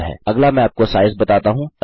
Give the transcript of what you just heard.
अगला मैं आपको साइज बताता हूँ